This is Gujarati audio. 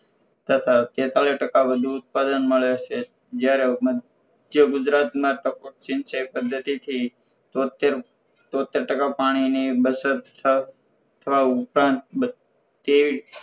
તથા તેત્તાળી ટ્કા વધુ ઉત્પાદન મળે છે જ્યારે મધ્ય ગુજરાતમાં ટપક સિંચાઇ પદ્ધતિથી તોત્તેર ટકા પાણીની બચત થ થવું ઉપરાંત તેવીસ